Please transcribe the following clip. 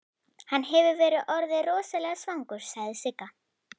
Hann hefur verið orðinn rosalega svangur, sagði Sigga.